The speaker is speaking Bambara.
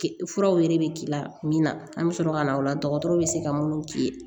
Furaw yɛrɛ bɛ k'i la min na an bɛ sɔrɔ ka na o la dɔgɔtɔrɔw bɛ se ka minnu k'i ye